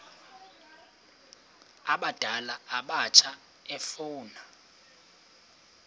abadala abatsha efuna